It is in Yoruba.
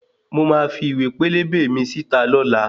Mo máa fi iwe pélébé mi síta lọ́la